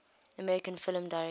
american film directors